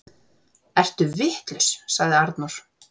Ertu vitlaus, sagði Arnór.